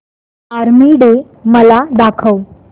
army day मला दाखव